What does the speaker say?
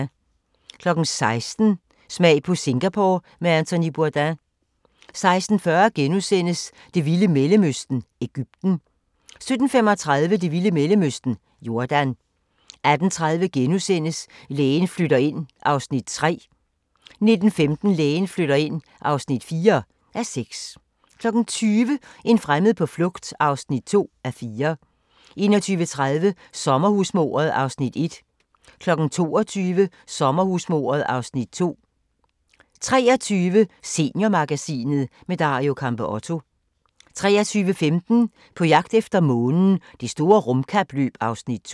16:00: Smag på Singapore med Anthony Bourdain 16:40: Det vilde Mellemøsten – Egypten * 17:35: Det vilde Mellemøsten – Jordan 18:30: Lægen flytter ind (3:6)* 19:15: Lægen flytter ind (4:6) 20:00: En fremmed på flugt (2:4) 21:30: Sommerhusmordet (Afs. 1) 22:00: Sommerhusmordet (Afs. 2) 23:00: Seniormagasinet – med Dario Campeotto 23:15: På jagt efter månen – Det store rumkapløb (Afs. 2)